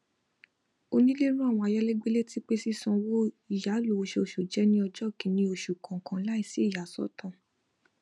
onílé ran àwọn ayálégbẹ létí pé sísanwó ìyàlò oṣooṣu jẹ ní ọjọ kìíní oṣù kọọkan láìsí ìyàsọtọ